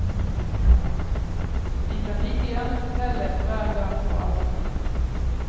De kan like gjerne fortelle om hver gang og all tid.